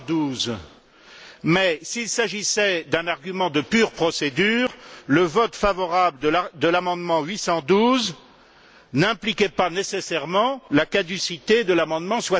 812. Mais, s'il s'agissait d'un argument de pure procédure, le vote favorable de l'amendement 812 n'impliquait pas nécessairement la caducité de l'amendement